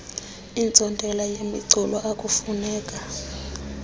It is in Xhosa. iintsontela yemicu akufuneka